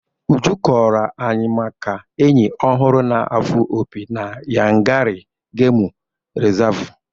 Uju kọọrọ anyị maka enyi ọ hụrụ na-afụ opi na Yankari Gemu Rịzavụ.